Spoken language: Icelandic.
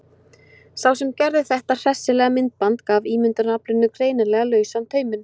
Sá sem gerði þetta hressilega myndband gaf ímyndunaraflinu greinilega lausan tauminn.